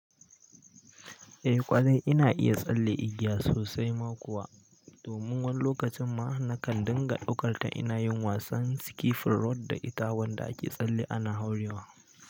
Eh ƙwarai ina iya tsalle igiya sosai ma kuwa. Domin wani lokacin ma nakan dinga ɗaukar ta ina yin wasan ski fulrot da itawan da ake tsalle ana hauriwa.